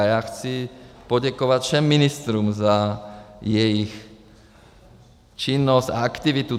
A já chci poděkovat všem ministrům za jejich činnost a aktivitu.